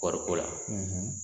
kɔɔriko la